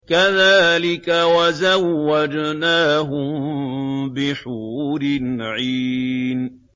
كَذَٰلِكَ وَزَوَّجْنَاهُم بِحُورٍ عِينٍ